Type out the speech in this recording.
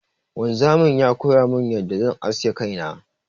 Wanzamin ya koyamin yadda zan aske kaina.